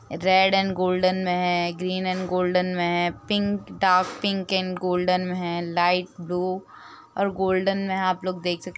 red and golden में है green and golden मे है pink dark pink and golden मे है लाइट ब्लु और गोल्डन में है आप लोग देख सक --